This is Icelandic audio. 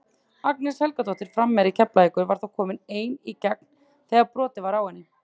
Agnes Helgadóttir framherji Keflavíkur var þá komin ein í gegn þegar brotið var á henni.